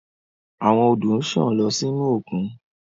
Awon odo nsan lọ sinu okun